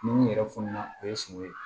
Ni mun yɛrɛ fununa o ye sogo ye